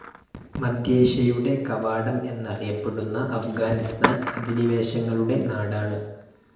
മധ്യേഷ്യയുടെ കവാടം എന്നറിയപ്പെടുന്ന അഫ്ഗാനിസ്താൻ അധിനിവേശങ്ങളുടെ നാടാണ്‌.